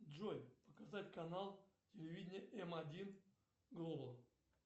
джой показать канал телевидения м один глобал